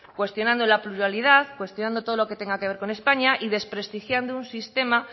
cuestionando la pluralidad cuestionando todo lo que tenga que ver con españa y desprestigiando un sistema